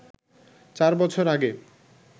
চার বছর আগে